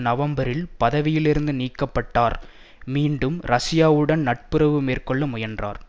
நவம்பரில் பதவியிலிருந்து நீக்க பட்டார் மீண்டும் ரஷ்யாவுடன் நட்புறவு மேற்கொள்ள முயன்றார்